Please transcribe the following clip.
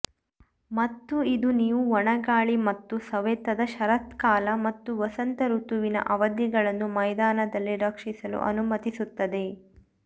ಮತ್ತು ಇದು ನೀವು ಒಣ ಗಾಳಿ ಮತ್ತು ಸವೆತದ ಶರತ್ಕಾಲ ಮತ್ತು ವಸಂತಋತುವಿನ ಅವಧಿಗಳನ್ನು ಮೈದಾನದಲ್ಲಿ ರಕ್ಷಿಸಲು ಅನುಮತಿಸುತ್ತದೆ